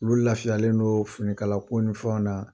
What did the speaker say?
Olu lafiyalen don finikala ko nin fɛnw na